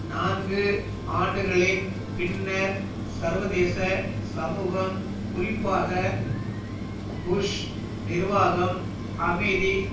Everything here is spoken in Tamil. நான்கு ஆண்டுகளின் பின்னர் சர்வதேச சமூகம் குறிப்பாக புஷ் நிர்வாகம் அமைதி